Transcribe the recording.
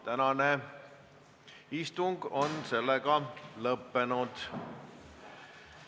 Tänane istung on lõppenud.